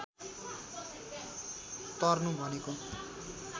तर्नु भनेको